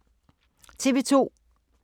TV 2